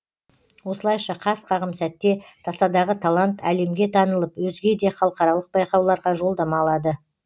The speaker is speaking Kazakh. осылайша қас қағым сәтте тасадағы талант әлемге танылып өзге де халықаралық байқауларға жолдама алады